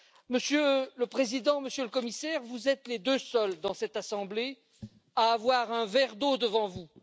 Monsieur le Président, Monsieur le Commissaire, vous êtes les deux seuls dans cette assemblée à avoir un verre d'eau devant vous.